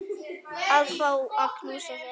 Að fá að knúsa þig.